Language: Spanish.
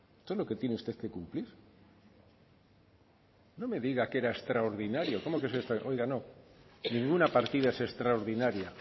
es lo que tiene usted que cumplir no me diga que era extraordinario cómo que es extraordinario oiga no ninguna partida es extraordinaria